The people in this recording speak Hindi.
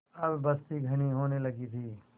अब बस्ती घनी होने लगी थी